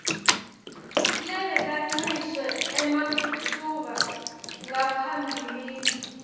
lebekancishwe ematfuba ngaphambilini